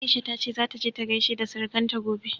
Aisha ta ce zata je ta gaishe da surukanta gobe.